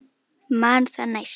Man það næst!